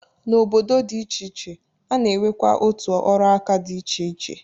N'obodo dị iche iche, a na-enwekwa otu ọrụaka dị iche iche.